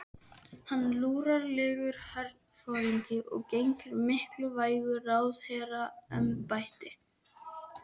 Hann er luralegur herforingi og gegnir mikilvægu ráðherraembætti.